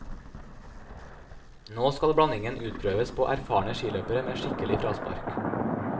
Nå skal blandingen utprøves på erfarne skiløpere med skikkelige fraspark.